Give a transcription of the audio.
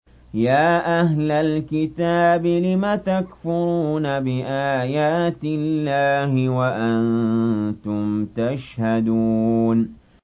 يَا أَهْلَ الْكِتَابِ لِمَ تَكْفُرُونَ بِآيَاتِ اللَّهِ وَأَنتُمْ تَشْهَدُونَ